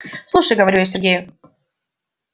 слушай говорю я сергею